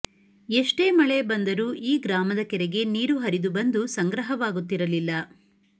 ಎಷ್ಟೇ ಮಳೆ ಬಂದರೂ ಈ ಗ್ರಾಮದ ಕೆರೆಗೆ ನೀರು ಹರಿದು ಬಂದು ಸಂಗ್ರಹವಾಗುತ್ತಿರಲಿಲ್ಲ